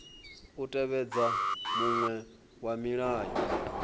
u tevhedza muṅwe wa milayo